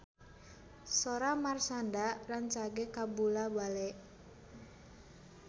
Sora Marshanda rancage kabula-bale